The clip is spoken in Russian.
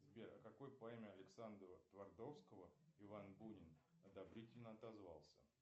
сбер о какой поэме александра твардовского иван бунин одобрительно отозвался